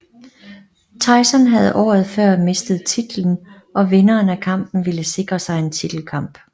Tyson havde året før mistet titlen og vinderen af kampen ville sikre sig en titelkamp